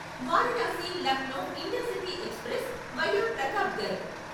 Varanasi Lucknow intercity express via Pratapgarh